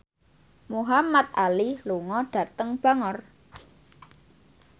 Muhamad Ali lunga dhateng Bangor